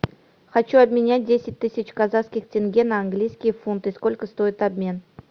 хочу обменять десять тысяч казахских тенге на английские фунты сколько стоит обмен